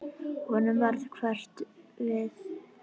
Honum varð hverft við.